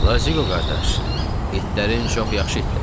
Lazığo qardaş, itlərin çox yaxşı itlərdir.